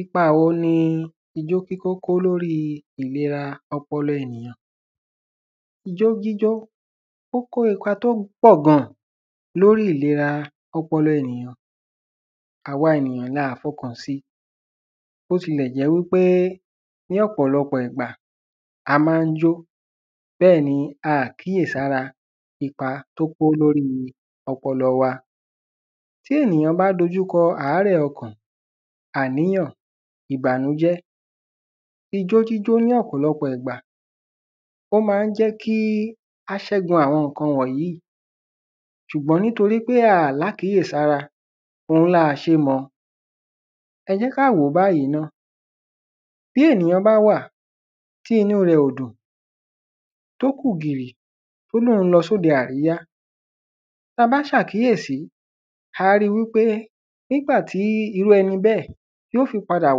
ipa wo ni ijó jíjó kó lórí ìlera ọpọlọ ènìyàn? ijó jíjó ó kó ipa tó pọ̀ gan-an lórí ìlera ọmọ ènìyàn, àwa ènìyàn laà fọkàn si bó tilẹ̀ jẹ́ wí pé ní ọ̀pọ̀lọpọ̀ ìgbà a máa ń yó bẹ́ẹ̀ ni aàkíyè sára ipa tó kó lórí ọpọlọ wa. Tí ènìyàn bá dojú kọ àárẹ̀ ọkàn, ìbànújẹ́, ijó jíjó ní ọ̀pọ̀lọpọ̀ ìgbà ó máa ń jẹ́ kí a ṣẹ́gun àwọn ǹkan wọ̀nyí ṣùgbọ́n nítorí aà lákíyèsára òhun là ṣe mọ̀. Ẹ jẹ́ ká wòó báyìí náà bí ènìyàn bá wà tí inú rẹ̀ ò dùn tó kù gìrì tó lóhun lọ sóde àríyá tabá ṣàkíyèsí a á ri wípé nígbà tí irú ẹni bẹ́ẹ̀ yóò fi padà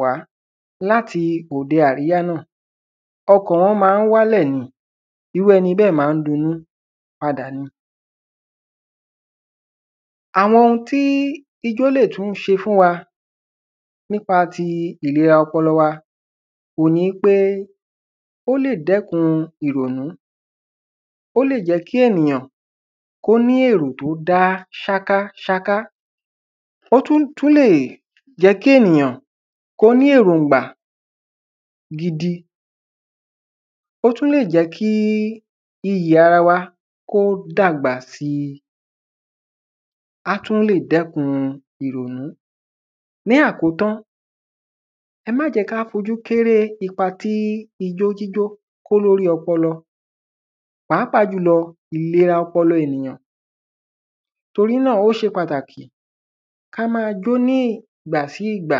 wá láti òde àríyá náà ọkàn wọn máa ń wálẹ̀ ni irú ẹni bẹ́ẹ̀ máa ń dunnú padà ni. Àwọn ohun tí ijó lè tún ṣe fún wa nípa ti ìlera ọpọlọ wa òhun ni pé ó lè dẹ́kun ìrònú. Ó lè jẹ́ kí ènìyàn kó ní èrò tó dá sákásáká ó tún túlè jẹ́ kí ènìyàn kó ní èrògbà gidi; ó tún lè jẹ́ kí iyì ara wa kó dàgbà si; á tún lè dẹ́kun ìrònú ní. Àkótán ẹ máà jẹ́ ká fojú kéré ipa tí ijó jíjó kó lórí ọpọlọ pàápàá jùlọ ìlera ọpọlọ ènìyàn. Torí náà ó ṣe pàtàkì ká máa jó ní ìgbà sí ìgbà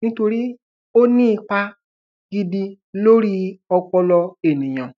nítorí ó ní ipa gidi lórí ọpọlọ ènìyàn.